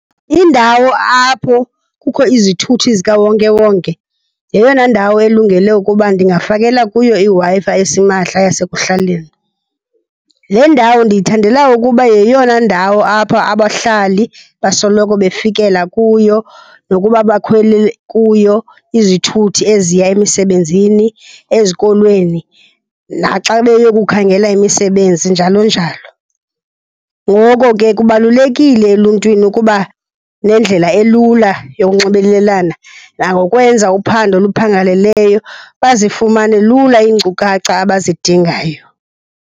Indawo apho kukho izithuthi zikawonkewonke yeyona ndawo elungele ukuba ndingafakela kuyo iWi-Fi esimahla yasekuhlaleni. Le ndawo ndiyithandela ukuba yeyona ndawo apha abahlali basoloko befikela kuyo nokuba bakhwelele kuyo izithuthi eziya emisebenzini, ezikolweni, naxa beye kukhangela imisebenzi, njalo njalo. Ngoko ke kubalulekile eluntwini ukuba nendlela elula yokunxibelelana nangokwenza uphando oluphangeleleyo, bazifumane lula iinkcukacha abazidingayo.